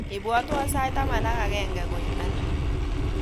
Ibwatwon sait taman ak agenge koimeni